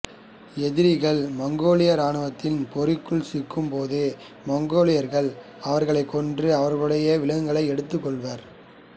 எதிரிகள் மங்கோலிய ராணுவத்தின் பொறிக்குள் சிக்கும் போது மங்கோலியர்கள் அவர்களைக் கொன்று அவர்களுடைய விலங்குகளை எடுத்துக் கொள்வர்